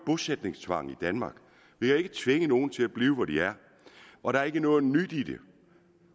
bosætningstvang i danmark vi kan ikke tvinge nogen til at blive hvor de er og der er ikke noget nyt i det